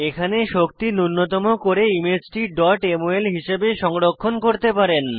এখানে শক্তি নুন্যতম করে ইমেজটি mol হিসাবে সংরক্ষণ করতে পারেন